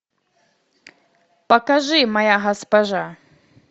покажи моя госпожа